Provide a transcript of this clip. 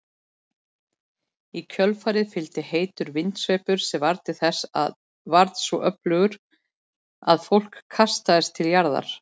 Í kjölfarið fylgdi heitur vindsveipur sem var svo öflugur að fólk kastaðist til jarðar.